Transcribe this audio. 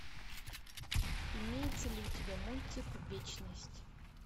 имеется ли у тебя мультик вечность